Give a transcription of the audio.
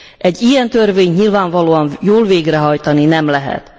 Egy ilyen törvényt nyilvánvalóan jól végrehajtani nem lehet.